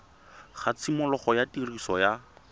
ga tshimologo ya tiriso ya